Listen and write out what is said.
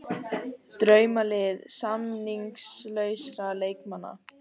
Draumalið samningslausra leikmanna